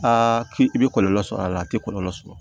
k'i bɛ kɔlɔlɔ sɔrɔ a la a tɛ kɔlɔlɔ sɔrɔ